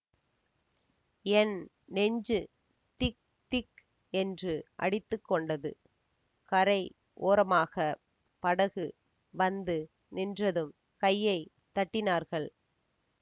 என் நெஞ்சு திக் திக் என்று அடித்து கொண்டது கரை ஓரமாகப் படகு வந்து நின்றதும் கையை தட்டினார்கள்